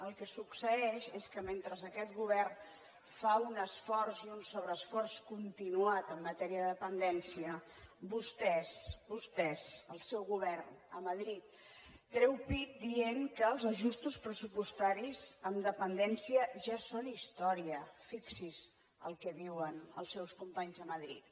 el que succeeix és que mentre aquest govern fa un esforç i un sobreesforç continuats en matèria de dependència vostès vostès el seu govern a madrid treu pit dient que els ajustos pressupostaris en dependència ja són història fixi’s el que diuen els seus companys de madrid